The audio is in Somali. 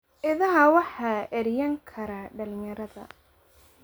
Idaha waxaa eryan kara dhalinyarada.